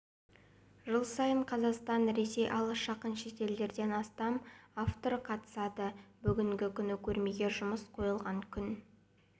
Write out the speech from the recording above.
жыл сайын қазақстан ресей алыс-жақын шетелдерден астам автор қатысады бүгінгі күні көрмеге жұмыс қойылған күн